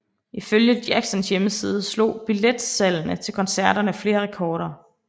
Ifølge Jacksons hjemmeside slog billetsalgene til koncerterne flere rekorder